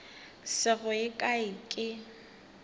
se go ye kae ke